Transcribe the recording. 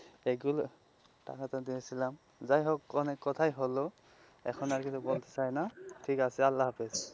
এইগুলো টাকাটা নিয়েছিলাম, যাই হোক অনেক কথাই হোল, এখন আর কিছু বলতে চাইনা ঠিক আছে আল্লাহ হাফিজ,